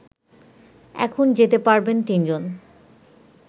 এখন যেতে পারবেন তিনজন